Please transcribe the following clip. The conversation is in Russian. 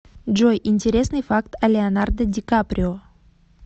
джой интересный факт о леонардо ди каприо